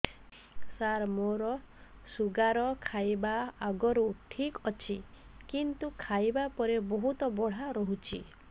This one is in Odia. ସାର ମୋର ଶୁଗାର ଖାଇବା ଆଗରୁ ଠିକ ଅଛି କିନ୍ତୁ ଖାଇବା ପରେ ବହୁତ ବଢ଼ା ରହୁଛି